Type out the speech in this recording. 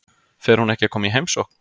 Fer hún ekki að koma í heimsókn?